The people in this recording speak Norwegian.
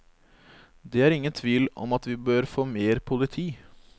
Det er ingen tvil om at vi bør få mer politi.